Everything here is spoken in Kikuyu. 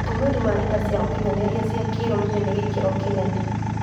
Ũtũmĩri wa nenda cia ũkinyanĩria cia kĩrũrĩrĩ na gĩkĩro kĩnene